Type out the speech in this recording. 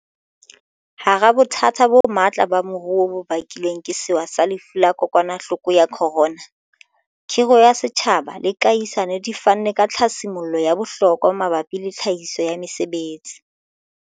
Hara bothata bo matla ba moruo bo bakilweng ke sewa sa Lefu la Kokwanahloko ya Corona, khiro ya setjhaba le kahisano di fanne ka tlhasi mollo ya bohlokwa mabapi le tlhahiso ya mesebetsi.